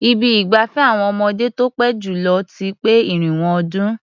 Ibi ìgbafẹ́ àwọn ọmọdé tó pé jù lọ ti pé irinwó ọdún.